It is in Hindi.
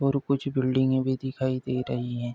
और कुछ बिल्डिंगे भी दिखाई दे रही हैं।